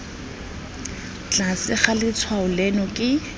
tlase ga letshwao leno ke